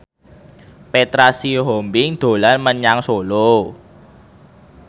Petra Sihombing dolan menyang Solo